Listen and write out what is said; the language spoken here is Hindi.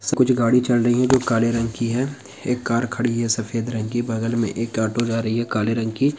कुछ गाड़ी चल रही है जो काले रंग की है एक कार खड़ी है सफेद रंग की बगल में एक ऑटो जा रही है काले रंग की--